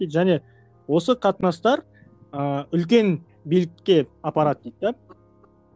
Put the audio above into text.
және осы қатыныстар ыыы үлкен билікке апарады дейді де